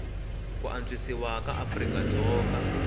ku antswisiwa ka afrika dzonga